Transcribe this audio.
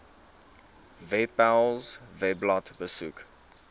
webpals webblad besoek